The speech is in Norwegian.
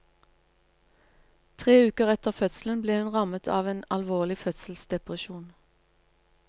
Tre uker etter fødselen ble hun rammet av en alvorlig fødselsdepresjon.